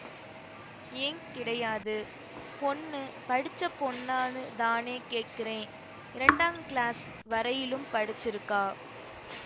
ஏன் கிடையாது பொண்ணு படிச்ச பொண்ணான்னு தானே கேக்றேன் இரண்டாங் கிளாஸ் வரையிலும் படிச்சிருக்கா